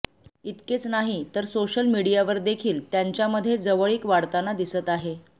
इतकेच नाही तर सोशल मीडियावर देखील त्यांच्यामध्ये जवळीक वाढताना दिसत आहे